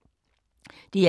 DR K